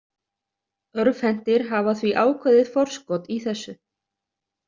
Örvhentir hafa því ákveðið forskot í þessu.